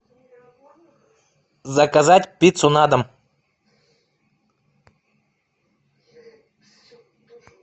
заказать пиццу на дом